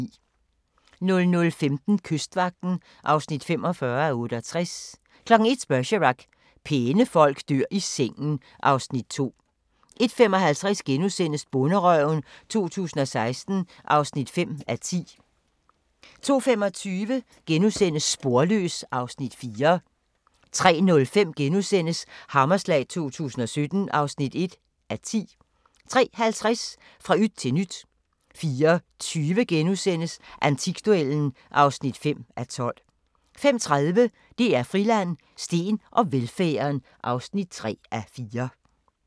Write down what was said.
00:15: Kystvagten (45:68) 01:00: Bergerac: Pæne folk dør i sengen (Afs. 2) 01:55: Bonderøven 2016 (5:10)* 02:25: Sporløs (Afs. 4)* 03:05: Hammerslag 2017 (1:10)* 03:50: Fra yt til nyt 04:20: Antikduellen (5:12)* 05:30: DR Friland: Steen og velfærden (3:4)